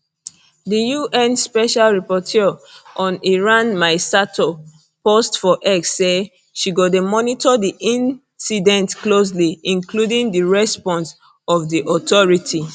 di un special rapporteur on iran mai sato post for x say she go dey monitor di incident closely including di response of di authorities